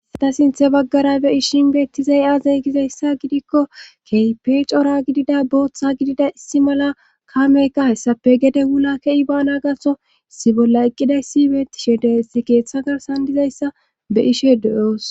issata sinthe baggara be ishin beettizay aazay gizayssa gidikko keype cora gidida booththa gidida issi mala kaameykka hessape gede wula kei ba na gaso issi bolla eqqidayssi beetishe de7essi keeththa garsan dizayssa be ishe deyoos.